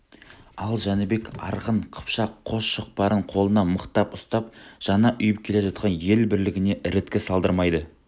ал жәнібек арғын қыпшақ қос шоқпарын қолына мықтап ұстап жаңа ұйып келе жатқан ел бірлігіне іріткі салдырмайды